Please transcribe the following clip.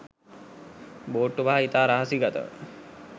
බෝට්ටු පහ ඉතා රහසිගතව